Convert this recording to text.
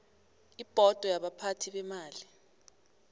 ibhodo yabaphathi beemali